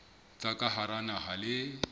tsa ka hara naha le